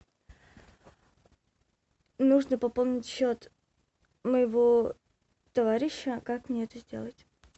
нужно пополнить счет моего товарища как мне это сделать